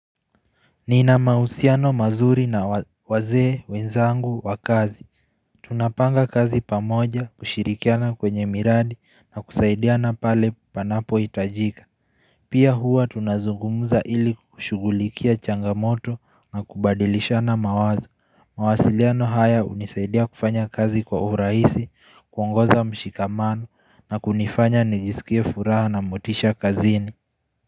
Nina mahusiano mazuri na wazee wenzangu wa kazi Tunapanga kazi pamoja kushirikiana kwenye miradi na kusaidiana pale panapo hitajika Pia huwa tunazungumuza ili kushugulikia changamoto na kubadilishana mawazo mawasiliano haya hunisaidia kufanya kazi kwa urahisi kuongoza mshikamano na kunifanya nijisikie furaha na motisha kazini.